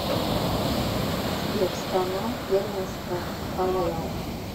сбер страна первенство фнл